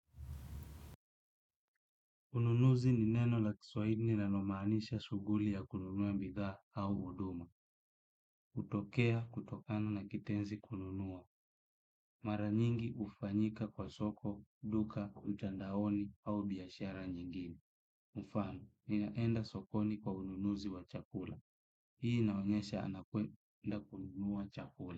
Ununuzi ni neno la kiswaili ni neno linalo maanisha suguli ya kununua mbidha au uduma. Utokea, kutokana na kitenzi kununua. Mara nyingi ufanyika kwa soko, duka, mtandaoni au biashara nyingine. Mufano, ni naenda sokoni kwa ununuzi wa chakula. Hii inaonyesha anakwenda kununua chakula.